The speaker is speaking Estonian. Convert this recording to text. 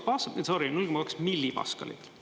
Sorri, 0,2 millipaskalit.